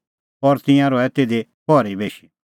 और तिंयां रहै तिधी पहरी बेशी